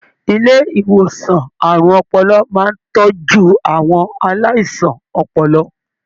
Ilé ìwòsàn àrùn ọpọlọ máa n tọjú àwọn aláìsàn ọpọlọ.